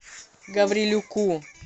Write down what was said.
гаврилюку